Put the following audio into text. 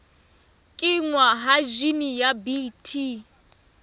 kenngwa ha jine ya bt